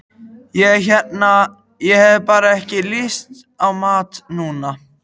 Ég hérna. ég hef bara ekki lyst á mat núna.